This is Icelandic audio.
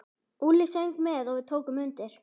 Úlli söng með og við tókum undir.